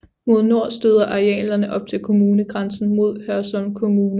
Mod nord støder arealerne op til kommunegrænsen mod Hørsholm Kommune